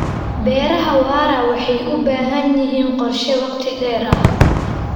Beeraha waara waxay u baahan yihiin qorshe wakhti dheer ah.